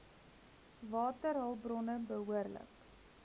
waterhulp bronne behoorlik